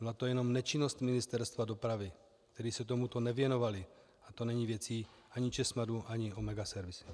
Byla to jen nečinnost Ministerstva dopravy, které se tomuto nevěnovalo, a to není věcí ani ČESMADu ani Omega servisu.